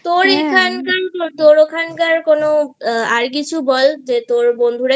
তোর ওখান কার আর কিছু বল বন্ধু রা